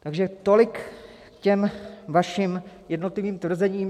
Takže tolik k těm vašim jednotlivým tvrzením.